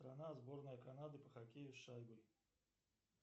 страна сборная канады по хоккею с шайбой